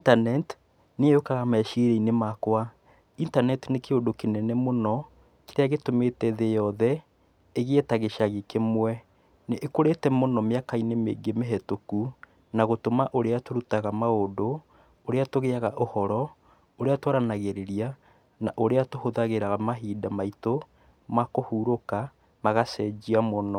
Internet nĩyo yũkaga meciria-inĩ makwa. Internet nĩ kĩũndũ kĩnene mũno, kĩrĩa gĩtũmĩte thĩ yothe, ĩgĩe ta gĩcagi kĩmwe. Nĩ ĩkũrĩte mũno mĩaka-inĩ mĩingĩ mĩhĩtũku, na gũtũma ũrĩa tũrutaga ma ũndũ, ũrĩa tũgĩaga ũhoro, ũrĩa twaranagĩrĩria, na ũria tũhũthagĩra mahinda maitũ, makũhurũka, magacenjia mũno.